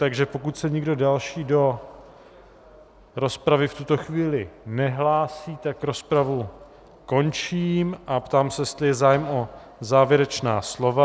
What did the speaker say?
Takže pokud se nikdo další do rozpravy v tuto chvíli nehlásí, tak rozpravu končím a ptám se, jestli je zájem o závěrečná slova.